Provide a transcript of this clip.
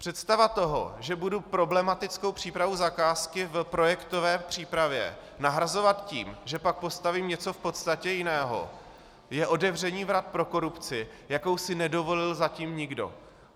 Představa toho, že budu problematickou přípravu zakázky v projektové přípravě nahrazovat tím, že pak postavím něco v podstatě jiného, je otevření vrat pro korupci, jakou si nedovolil zatím nikdo.